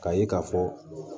K'a ye k'a fɔ